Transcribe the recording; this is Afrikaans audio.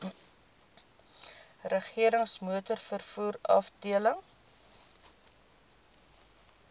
regerings motorvervoer afdeling